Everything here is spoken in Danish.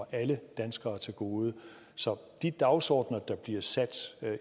alle danskere til gode så de dagsordener der bliver sat